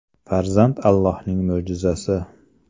Farzand Allohning mo‘jizasi.